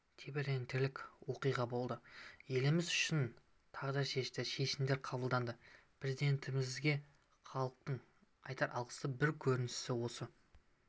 тебірентерлік оқиға болды еліміз үшін тағдыршешті шешімдер қабылдаған президентімізге халықтың айтар алғысының бір көрінісі осы